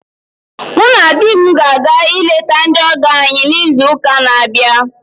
Mụ na di m ga-aga ileta ndị ọgọ anyị n'izu ụka na abịa